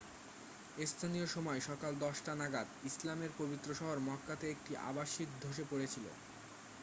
স্থানীয় সময় সকাল 10 টা নাগাদ ইসলামের পবিত্র শহর মক্কাতে একটি আবাসিক ধসে পড়েছিল